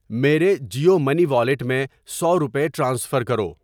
میرے Jio money wallet میں سو روپے ٹرانسفر کرو۔